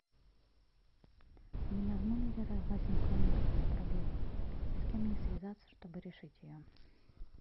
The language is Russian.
у меня в номере возникла некоторая проблема с кем мне связаться чтобы решить ее